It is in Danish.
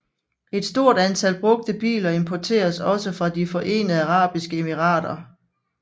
Et stort antal brugte biler importeres også fra de Forenede Arabiske Emirater